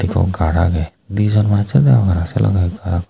ekko gar age di jon manse deong arw se loge ekko age.